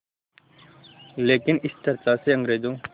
लेकिन इस चर्चा से अंग्रेज़ों